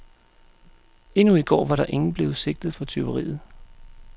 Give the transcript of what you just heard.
Endnu i går var ingen blevet sigtet for tyveriet.